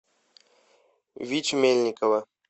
витю мельникова